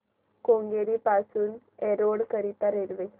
केंगेरी पासून एरोड करीता रेल्वे